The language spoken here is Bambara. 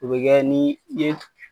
O bɛ kɛ ni den